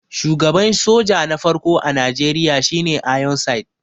shugaban soja na farko a Najeriya shi ne ironside